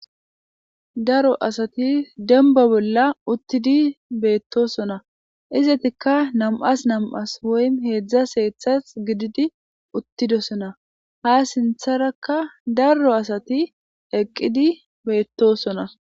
daro asati demba bolla uttidi beettosona izetikka nam7as nam7as woy heedzdza hedzdzas gididi uttidosona ha sintharakka daro asati eqqidi beettosona